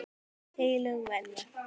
Hvort það hefði slasast mikið.